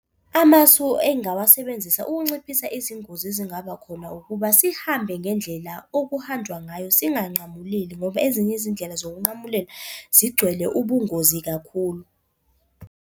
Amasu engingawasebenzisa ukunciphisa izingozi ezingaba khona ukuba sihambe ngendlela okuhanjwa ngayo, singanqamuleli ngoba ezinye izindlela zokunqamulela zigcwele ubungozi kakhulu.